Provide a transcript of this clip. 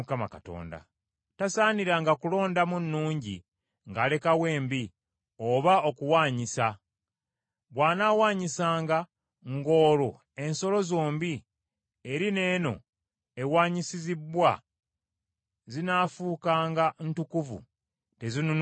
Tasaaniranga kulondamu nnungi ng’alekawo embi, oba okuwaanyisa. Bw’anaawaanyisanga ng’olwo ensolo zombi, eri n’eno ewanyisizibbwa zinaafuukanga ntukuvu teziinunulibwenga.”